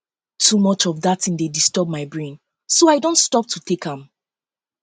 too much of dat thing dey disturb my brain so i don stop to take am